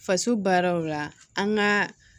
Faso baaraw la an ka